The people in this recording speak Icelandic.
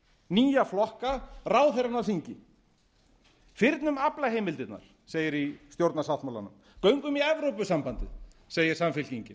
nýja flokka ráðherrana af þingi fyrnum aflaheimildirnar segir í stjórnarsáttmálanum göngum í evrópusambandið segir samfylkingin